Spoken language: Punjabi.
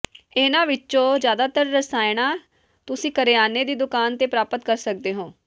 ਇਨ੍ਹਾਂ ਵਿੱਚੋਂ ਜ਼ਿਆਦਾਤਰ ਰਸਾਇਣਾਂ ਤੁਸੀਂ ਕਰਿਆਨੇ ਦੀ ਦੁਕਾਨ ਤੇ ਪ੍ਰਾਪਤ ਕਰ ਸਕਦੇ ਹੋ